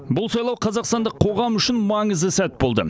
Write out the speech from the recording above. бұл сайлау қазақстандық қоғам үшін маңызды сәт болды